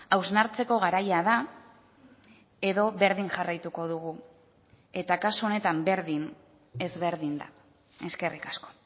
hausnartzeko garaia da edo berdin jarraituko dugu eta kasu honetan berdin ezberdin da eskerrik asko